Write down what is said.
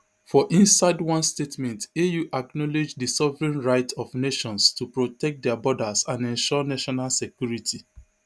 for inside one statement au acknowledge di sovereign right of nations to protect dia borders and ensure national security